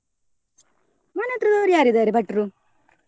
ಮನೆ ಹತ್ರದವ್ರು ಯಾರ್ ಇದಾರೆ ಭಟ್ರು?